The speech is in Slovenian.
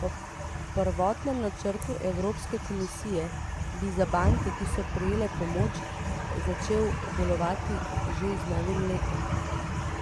Po prvotnem načrtu evropske komisije bi za banke, ki so prejele pomoč, začel delovati že z novim letom.